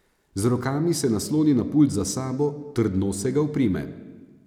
Z rokami se nasloni na pult za sabo, trdno se ga oprime.